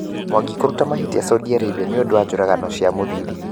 mwangi kũruta mahĩtia Saudi Arabia nĩũndũ wa njũagano cia Mũthithi